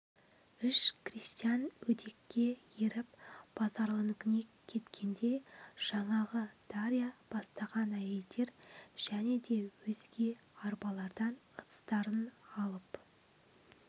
үш крестьян өдекке еріп базаралынікіне кеткенде жаңағы дарья бастаған әйелдер және де өзге арбалардан ыдыстарын алып